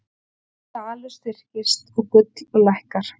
Dalur styrkist og gull lækkar